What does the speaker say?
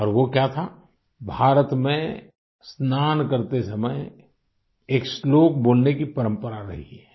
और वो क्या था भारत में स्नान करते समय एक श्लोक बोलने की परंपरा रही है